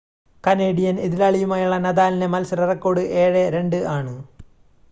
Canadian എതിരാളിയുമായുള്ള നദാലിൻ്റെ മത്സര റെക്കോർഡ് 7 2 ആണ്